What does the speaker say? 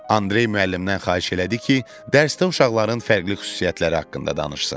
Andrey müəllimdən xahiş elədi ki, dərsdə uşaqların fərqli xüsusiyyətləri haqqında danışsın.